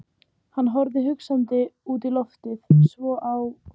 Hann horfði hugsandi út í loftið, svo á